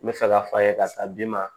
N bɛ fɛ k'a fɔ a ye karisa d'i ma